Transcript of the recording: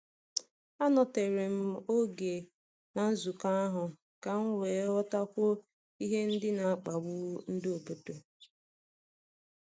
Anọtere m oge na nzukọ ahụ ka m wee ghọtakwuo ihe ndị n'akpagbu nde obodo.